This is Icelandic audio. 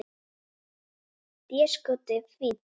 Déskoti fínt.